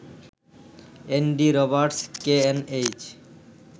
Andy Roberts, KNH